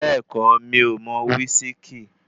Bẹ́ẹ̀kọ́, mi ò mo wísíkí.